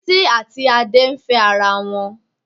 Títí àti Adé ń fẹ́ ara wọn.